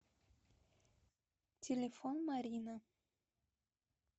телефон марина